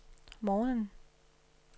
morgenen